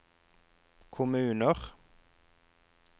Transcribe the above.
kommuner